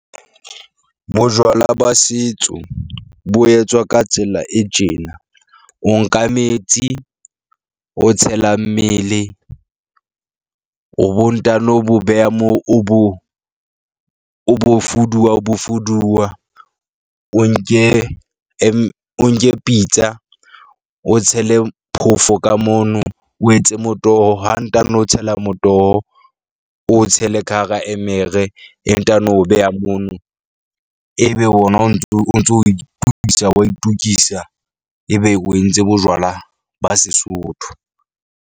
Bojwala ba setso bo etswa ka tsela e tjena, o nka metsi, o tshela mmele o bo ntano bo beha moo, o bo o bo fuduwa, o bo fuduwa, o nke o nke pitsa, o tshele phofo ka mono, o etse motoho. Ha ntano tshela motoho, o tshele ka hara emere, e ntano beha mono. Ebe wona o ntso o ntso itokisa wa itokisa ebe o entse bojwala ba Sesotho.